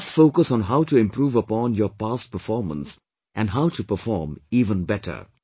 You must focus on how to improve upon your past performance and how to perform even better